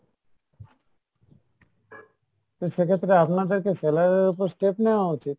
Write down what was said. তো সেক্ষেত্রে আপনাদেরকে seller এর ওপর step নেওয়া উচিৎ।